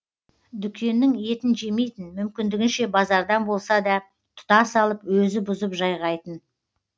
дүкеннің етін жемейтін мүмкіндігінше базардан болса да тұтас алып өзі бұзып жайғайтын